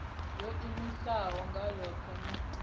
yo iimisaho nga yohe na